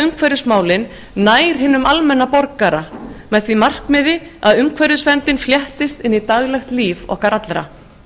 umhverfismálin nær hinum almenna borgara með því markmiði að umhverfisverndin fléttist inn í daglegt líf okkar allra